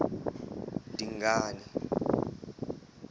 dingane